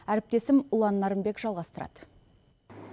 әріптесім ұлан нарынбек жалғастырады